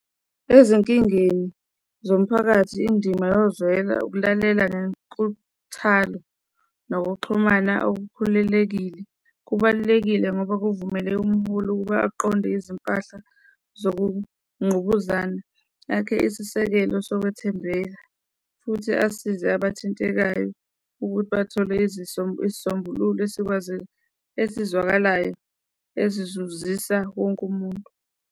Ezinkingeni zomphakathi, indima yozwela ukulalela ngenkuthalo nokuxhumana okukhulelekile, kubalulekile ngoba kuvumeleke umkhulu ukuba aqonde izimpahla zokungqubuzana, akhe isisekelo sokwethembeka futhi asize abathintekayo ukuthi bathole isisombululo esikwazi, esizwakalayo esizuzisa wonke umuntu.